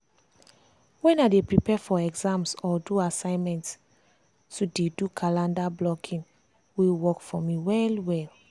wen i dey prepare for exams or do assignment to dey do calendar blocking dey work for me well well.